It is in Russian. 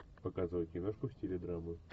показывай киношку в стиле драмы